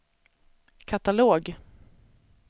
katalog